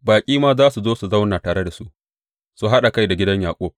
Baƙi ma za su zo su zauna tare da su su haɗa kai da gidan Yaƙub.